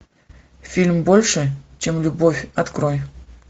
фильм больше чем любовь открой